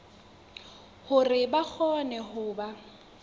hore ba kgone ho ba